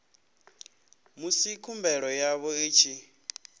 musi khumbelo yavho i tshi